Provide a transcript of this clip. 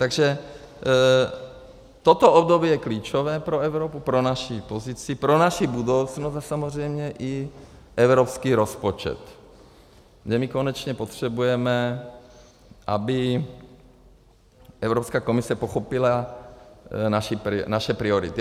Takže toto období je klíčové pro Evropu, pro naši pozici, pro naši budoucnost a samozřejmě i evropský rozpočet, kde my konečně potřebujeme, aby Evropská komise pochopila naše priority.